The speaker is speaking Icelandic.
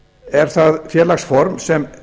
er það félagsform sem